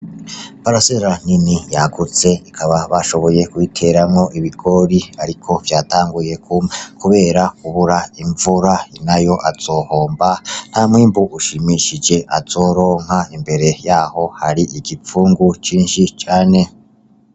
Parasera nini yagutse, ikaba bashoboye kuyiteramwo ibigori, ariko vyatanguye kuma kubera kubura imvura, nyirayo azohomba, ntamwimbu ushimishije azoronka, imbere yaho hari igipfungu cinshi cane.